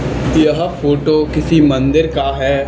यह फोटो किसी मंदिर का है।